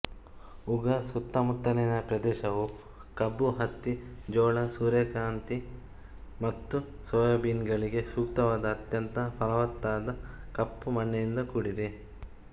ಉಗಾರ್ ಸುತ್ತಮುತ್ತಲಿನ ಪ್ರದೇಶವು ಕಬ್ಬು ಹತ್ತಿ ಜೋಳ ಸೂರ್ಯಕಾಂತಿ ಮತ್ತು ಸೋಯಾಬೀನ್ಗಳಿಗೆ ಸೂಕ್ತವಾದ ಅತ್ಯಂತ ಫಲವತ್ತಾದ ಕಪ್ಪು ಮಣ್ಣಿನಿಂದ ಕೂಡಿದೆ